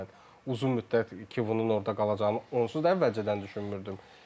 Yəni mən uzun müddət Kivonun orda qalacağını onsuz da əvvəlcədən düşünmürdüm.